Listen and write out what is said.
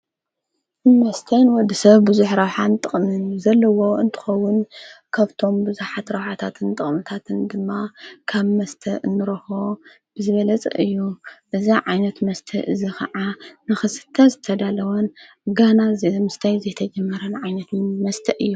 ወስተን ወዲ ሰብ ብዙኅ ራውኃን ጥቕምን ዘለዎ እንጥውን ካብቶም ብዙኃት ረውኃታትን ጥቕንታትን ግማ ካብ መስተ እንሮሆ ብዘበለጽ እዩ እዛ ዓይነት መስተ እዝ ኸዓ ንኽስተ ዝተዳለወን ጋና ዘምስተይ ዘተጀመረን ዓይነትምን መስተእ እዩ።